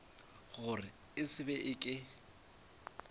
gore e se be ke